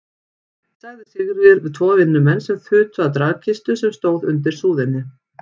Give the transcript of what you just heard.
sagði Sigríður við tvo vinnumenn sem þutu að dragkistu sem stóð undir súðinni.